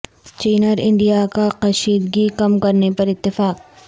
چین اور انڈیا کا کشیدگی کم کرنے پر اتفاق